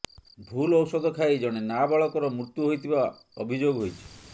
ଭୁଲ ଔଷଧ ଖାଇ ଜଣେ ନାବାଳକର ମୃତ୍ୟୁ ହୋଇଥିବା ଅଭିଯୋଗ ହୋଇଛି